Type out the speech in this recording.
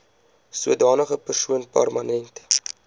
sodanige persoon permanent